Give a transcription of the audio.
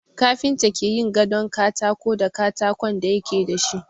Kafinta ke yin gadon katako da katakon da yake da shi.